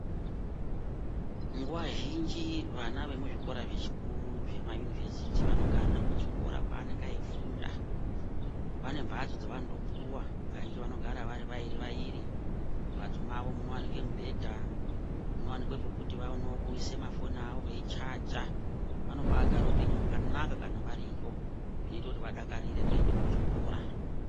Nguwa zhinji vana vemuzvikora zvechikuru zvema yunivhesiti vanogarire kuchikora kwaanenge achifunda, vane mhatso dzaanotopuwa kazhinji vanogara vari vairi vairi, mumhatso mwawo munowanike mubhedha, munowanikwe pekuti vaonewo kuisa mafoni awo veichaja vanobaagare upenyu hwakanaka kana variyo zvinoita kuti vadakarire kuenda kuchikora .